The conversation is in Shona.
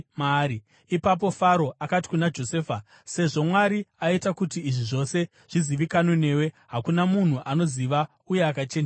Ipapo Faro akati kuna Josefa, “Sezvo Mwari aita kuti izvi zvose zvizivikanwe newe, hakuna munhu anoziva uye akachenjera sewe.